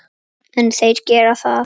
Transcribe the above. En þeir gera það.